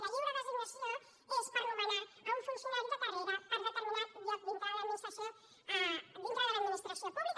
la lliure designació és per nomenar a un funcionari de carrera per determinat lloc dintre de l’administració pública